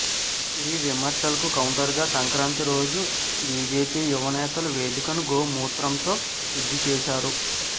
ఈ విమర్శలకు కౌంటర్ గా సంక్రాంతి రోజు బీజేపీ యువనేతలు వేదికను గోమూత్రంతో శుద్ధిచేశారు